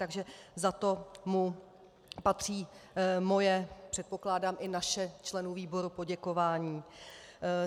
Takže za to mu patří moje, předpokládám i naše - členů výboru - poděkování.